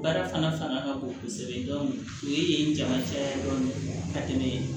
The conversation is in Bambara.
Baara fana fanga ka bon kosɛbɛ o ye jalacɛ ye dɔrɔn ka tɛmɛ